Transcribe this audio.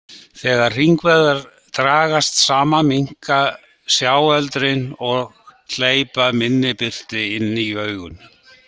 Þegar hringvöðvarnir dragast saman minnka sjáöldrin og hleypa minni birtu inn í augun.